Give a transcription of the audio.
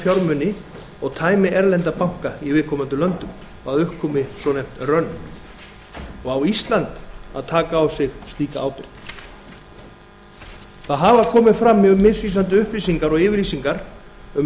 fjármuni og tæmi erlenda banka í viðkomandi löndum að upp komi svonefnt run á ísland að taka á sig slíka ábyrgð það hafa komið fram mjög misvísandi upplýsingar og yfirlýsingar um